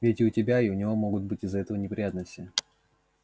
ведь и у тебя и у него могут быть из-за этого неприятности